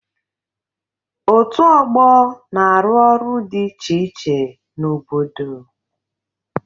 Òtù ọgbọ na-arụ ọrụ dị iche iche n'obodo.